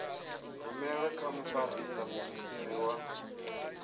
rumelwe kha mfarisa muofisiri wa